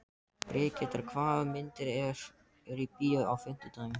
Brigitta, hvaða myndir eru í bíó á fimmtudaginn?